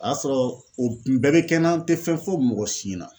A y'a sɔrɔ o kun bɛɛ be kɛ n na n te fɛn fɔ mɔgɔ si ɲɛna